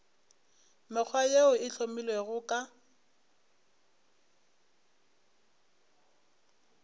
mekgwa yeo e hlomilwego ka